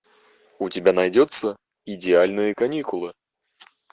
у тебя найдется идеальные каникулы